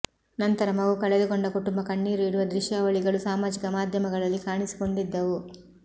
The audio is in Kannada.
ನಂತರ ಮಗು ಕಳೆದುಕೊಂಡ ಕುಟುಂಬ ಕಣ್ಣೀರು ಇಡುವ ದೃಶ್ಯಾವಳಿಗಳು ಸಾಮಾಜಿಕ ಮಾಧ್ಯಮಗಳಲ್ಲಿ ಕಾಣಿಸಿಕೊಂಡಿದ್ದವು